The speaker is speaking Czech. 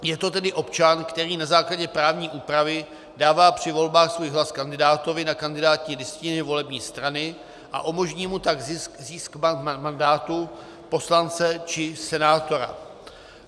Je to tedy občan, který na základě právní úpravy dává při volbách svůj hlas kandidátovi na kandidátní listině volební strany a umožní mu tak zisk mandátu poslance či senátora.